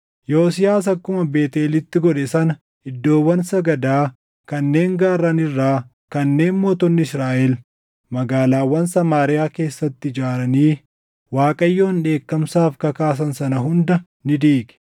Yosiyaas akkuma Beetʼeelitti godhe sana iddoowwan sagadaa kanneen gaarran irraa kanneen mootonni Israaʼel magaalaawwan Samaariyaa keessatti ijaaranii Waaqayyoon dheekkamsaaf kakaasan sana hunda ni diige.